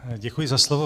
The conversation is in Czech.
Děkuji za slovo.